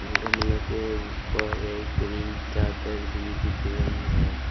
गमला के ऊपर एक ग्रीन चादर भी दिख रही है।